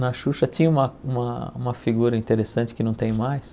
Na Xuxa tinha uma uma uma figura interessante que não tem mais.